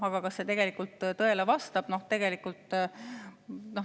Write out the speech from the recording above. Aga kas see tegelikult tõele vastab?